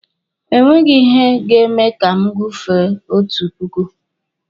E nweghi ihe ga-eme ka m gufere otu puku.